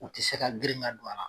U tɛ se ka girin ka don a la.